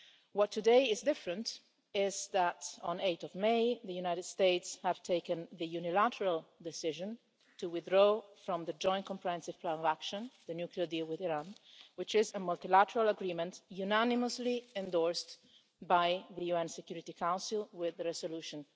What today is different is that on 8 May the United States took the unilateral decision to withdraw from the Joint Comprehensive Plan of Action the nuclear deal with Iran, which is a multilateral agreement unanimously endorsed by the UN Security Council with resolution